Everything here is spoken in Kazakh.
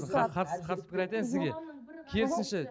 қарсы қарсы қарсы пікір айтайын сізге керісінше